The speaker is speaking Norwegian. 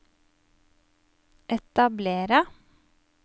etablere